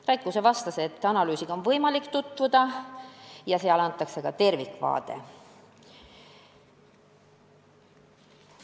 Rait Kuuse vastas, et analüüsiga on võimalik tutvuda ja seal antakse ka tervikvaade.